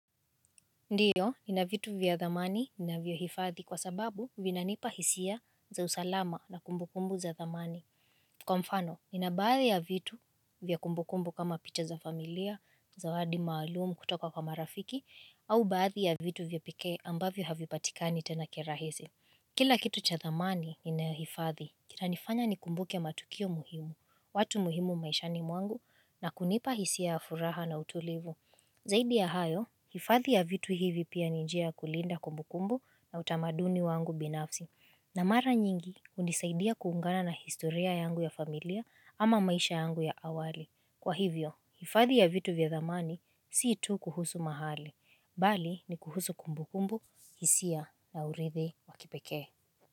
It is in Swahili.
Ndiyo, ni na vitu vya dhamani navyo hifadhi kwa sababu vinanipa hisia za usalama na kumbukumbu za dhamani. Kwa mfano, nina baadhi ya vitu vya kumbukumbu kama picha za familia, zawadi maalumu kutoka kwa marafiki, au baadhi ya vitu vya pekee ambavyo havipatikani tena kirahisi. Kila kitu cha dhamani, nina ya hifadhi. Itanifanya nikumbuke matukio muhimu, watu muhimu maishani mwangu, na kunipa hisia furaha na utulivu. Zaidi ya hayo, hifadhi ya vitu hivi pia ni njia kulinda kumbukumbu na utamaduni wangu binafsi. Na mara nyingi, hunisaidia kuungana na historia yangu ya familia ama maisha yangu ya awali. Kwa hivyo, hifadhi ya vitu vya zamani si tu kuhusu mahali, mbali ni kuhusu kumbukumbu, hisia na uridhi wakipekee.